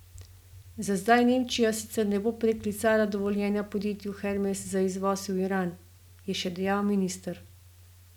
Za zdaj Nemčija sicer ne bo preklicala dovoljenja podjetju Hermes za izvoz v Iran, je še dejal minister.